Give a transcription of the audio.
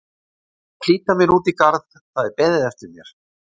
Ég verð að flýta mér út í garð, það er beðið eftir mér.